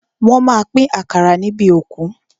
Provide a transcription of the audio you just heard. Wọ́n má a pín àkàrà níbi òkú.